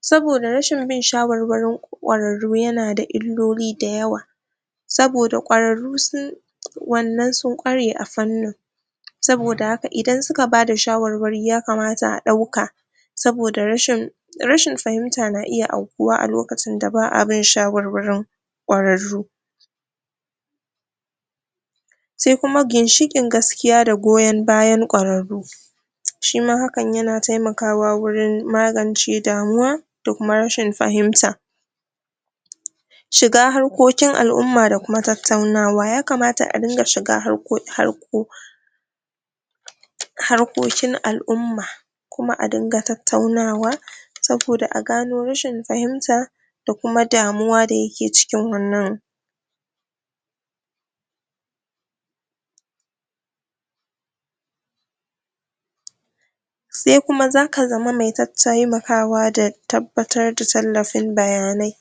saboda rashin bin shawarwarin ƙwararrun yana da illoli da yawa saboda ƙwararru su wannan sun ƙware a fannin saboda haka idan suka bada shawarwari yakamata a ɗauka saboda rashin rashin fahimta na iya aukuwa a lokacin da ba'a bin shawarwarin ƙwararru se kuma gishiƙin gaskiya da zoyon bayan ƙwararru shi ma hakan yana taimakawa wurin magance damuwa da kuma rashin fahimta shiga harkokin al'umma da kuma tattaunawa, yakamata a dinga shiga harko harkokin al'umma kuma a dinga tattaunawa saboda a gano rashin fahimta da kuma damuwa da yake cikin wannan se kuma zaka zama me tattaimakawa da tabbatar da tallafin bayanai.